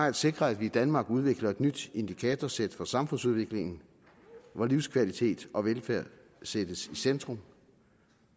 at sikre at vi i danmark udvikler et nyt indikatorsæt for samfundsudviklingen hvor livskvalitet og velfærd sættes i centrum